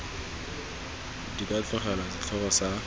di ka tlogelwa setlhogo sa